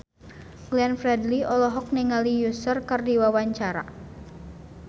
Glenn Fredly olohok ningali Usher keur diwawancara